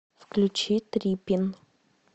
включи трипин